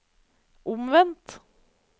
omvendt